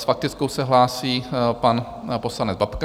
S faktickou se hlásí pan poslanec Babka.